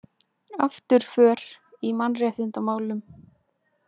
Afturför í mannréttindamálum